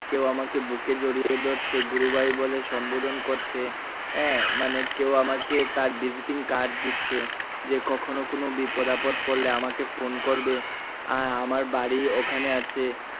কেউ আমাকে বুকে জড়িয়ে ধরছে গুরুভাই বলে সম্বোধন করছে আহ মানে কেউ আমাকে তার visiting card দিচ্ছে যে কখনো কোনো বিপদ আপদ পড়ল আমাকে ফোন করবে আহ আমার বাড়ি ওখানে আছে।